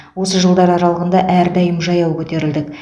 осы жылдар аралығында әрдайым жаяу көтерілдік